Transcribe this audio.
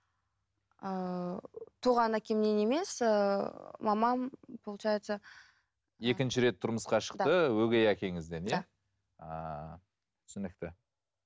ыыы туған әкемнен емес ііі мамам получается екінші рет тұрмысқа шықты өгей әкеңізден иә да ааа түсінікті